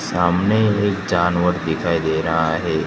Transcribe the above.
सामने एक जानवर दिखाई दे रहा है।